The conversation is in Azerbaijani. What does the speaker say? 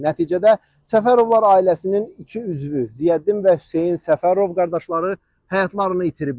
Nəticədə Səfərovlar ailəsinin iki üzvü, Ziyəddin və Hüseyn Səfərov qardaşları həyatlarını itiriblər.